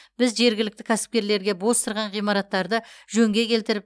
біз жергілікті кәсіпкерлерге бос тұрған ғимараттарды жөнге келтіріп